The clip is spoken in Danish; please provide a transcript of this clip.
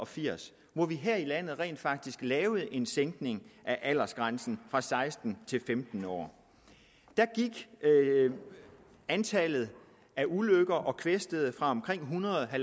firs hvor vi her i landet rent faktisk lavede en sænkning af aldersgrænsen fra seksten år til femten år der gik antallet af ulykker og kvæstede fra omkring en hundrede og